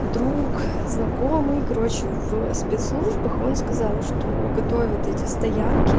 друг знакомый короче в спецслужбах он сказала что готовят эти стоянки